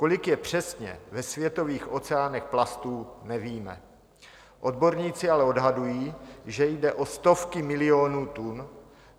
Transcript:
Kolik je přesně ve světových oceánech plastů, nevíme, odborníci ale odhadují, že jde o stovky milionů tun.